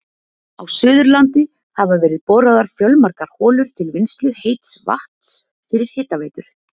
Á Suðurlandi hafa verið boraðar fjölmargar holur til vinnslu heits vatns fyrir hitaveitur.